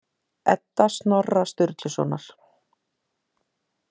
Edda Snorra Sturlusonar.